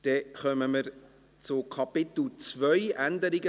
II. Änderung des Erlasses 211.1